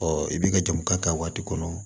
i bɛ ka jamu k'a kan waati kɔnɔ